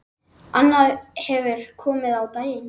Annað hefur komið á daginn.